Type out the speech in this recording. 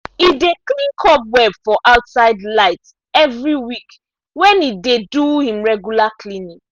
e dey clean cobweb for outside light every week when e dey do him regular cleaning.